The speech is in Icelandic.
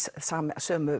sömu